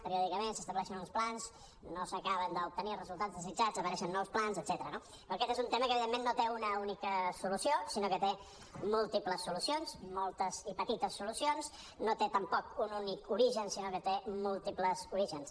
periòdicament s’estableixen uns plans no s’acaben d’obtenir re·sultats desitjats apareixen nous plans etcètera no però aquest és un tema que evidentment no té una única solució sinó que té múl·tiples solucions moltes i petites solucions no té tampoc un únic origen sinó que té múltiples orígens